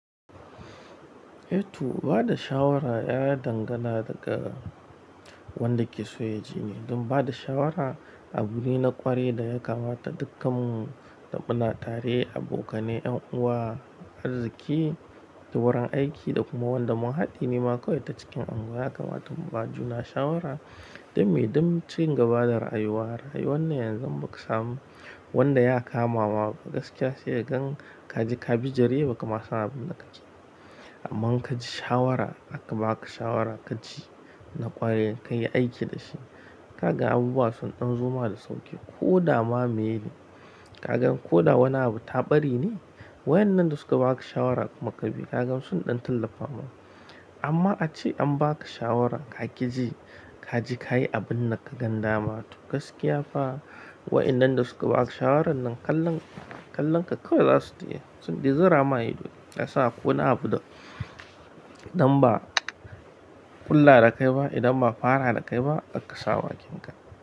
Eh to, ba da shawara ya dangana daga wanda ke so yajini, don bada shawara abu ne na kwarai da yakamata dukkanmu da muna tare abokanai, 'yan'uwa, arzuki da wurin aiki dakuma wandama hadine kawai ta cikin anguws dan me? Dan cingaba da rayuwa, rayuwannan yanzum im bakasamu wanda yakamama gaskiya sai kagan kaji ka bijire bakama san abinda kakeba amman inkaji shawara aka baka shawara kaji na kwarai kayi aiki dashi. Kaga abubuwa sun dan zoma da sauki koda ma meye kagan koda wani abun ta ɓarene wa'innan da suka baka shawara kuma kabi kaga sun dan tallafama amma ace ambaka shawara kaƙi ji kaje kayi abinda kagan dama to gaskiyafa wa'yannan da suka baka shawarannan Kalleon, kalonka kawai zasu tayi sunta zurama ido kasan akwai wani abu da in ba'a ƙulla da kaiba in ba'a fara da kaiba kakka sa bakinka.